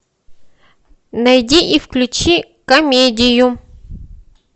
найди и включи комедию